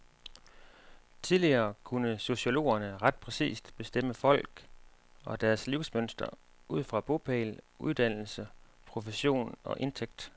Tidligere kunne sociologerne ret præcist bestemme folk og deres livsmønster ud fra bopæl, uddannelse, profession og indtægt.